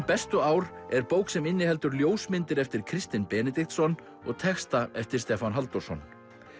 bestu ár er bók sem inniheldur ljósmyndir eftir Kristin Benediktsson og texta eftir Stefán Halldórsson